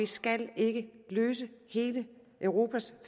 skal ikke løse hele europas